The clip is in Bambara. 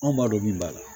Anw b'a dɔn min b'a la